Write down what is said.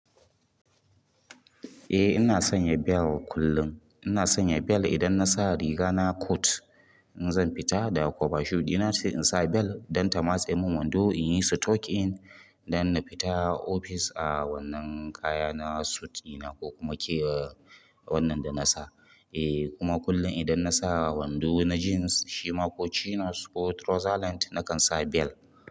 Eh ina sanya bel kullum, ina sanya bel idan nasa riga na kot in zan fita da koba shoe ina ce insa bel don ta matse min wando in yi sitokin dan na fita ofis a wannan kaya na suut ina ko kuma ke wannan da nasa. Eh kuma kullum idan nasa wando na jeans shima ko chinos ko trouser lent nakan sa bel.